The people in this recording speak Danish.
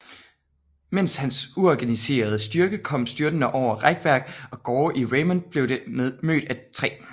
Mens hans uorganiserede styrke kom styrtende over rækværk og gårde i Raymond blev det mødt af 3